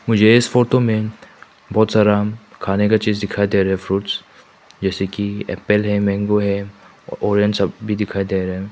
मुझे इस फोटो में बहुत सारा खाने का चीज दिखाई दे रहे फ्रूट्स जैसे कि एप्पल है मैंगो है और ऑरेंज सब भी दिखाई दे रहा है।